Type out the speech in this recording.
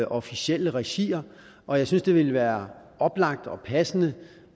officielle regier og jeg synes det ville være oplagt og passende